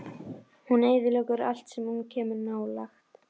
Hún eyðileggur allt sem hún kemur nálægt.